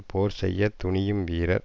போர் செய்ய துணியும் வீரர்